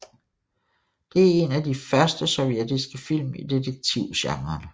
Det er en af de første sovjetiske film i detektivgenren